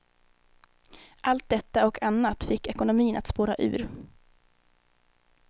Allt detta och annat fick ekonomin att spåra ur.